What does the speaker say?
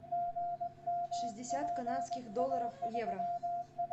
шестьдесят канадских долларов в евро